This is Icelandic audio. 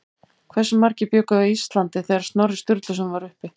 Hversu margir bjuggu á Íslandi þegar Snorri Sturluson var uppi?